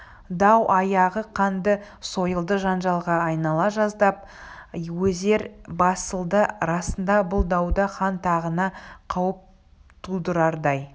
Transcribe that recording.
дау аяғы қанды сойылды жанжалға айнала жаздап әзер басылды расында бұл дауда хан тағына қауіп тудырардай